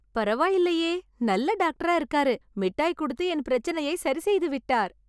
பரவாயில்லையே, நல்ல டாக்டரா இருக்காரு. மிட்டாய் கொடுத்து என் பிரச்சனையை சரி செய்து விட்டார்.